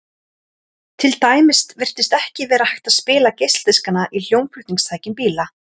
Til dæmis virtist ekki vera hægt að spila geisladiskana í hljómflutningstækjum bíla.